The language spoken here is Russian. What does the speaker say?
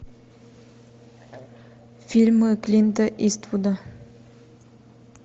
фильмы клинта иствуда